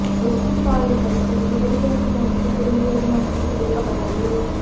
western பாயில் Custer's உடல் கிழக்கு நோக்கி திரும்பியது மற்றும் புதைக்கப்பட்டது